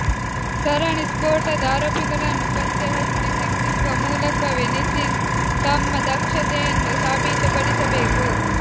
ಸರಣಿ ಸ್ಫೋಟದ ಆರೋಪಿಗಳನ್ನು ಪತ್ತೆ ಹಚ್ಚಿ ಶಿಕ್ಷಿಸುವ ಮೂಲಕವೇ ನಿತೀಶ್ ತಮ್ಮ ದಕ್ಷತೆಯನ್ನು ಸಾಬೀತುಪಡಿಸಬೇಕು